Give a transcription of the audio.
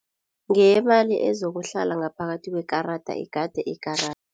Ngeyamali ezokuhlala ngaphakathi kwekarada igade ikarada.